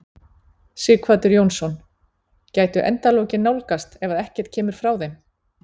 Sighvatur Jónsson: Gætu endalokin nálgast ef að ekkert kemur frá þeim?